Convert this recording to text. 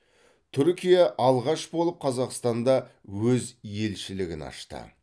түркия алғаш болып қазақстанда өз елшілігін ашты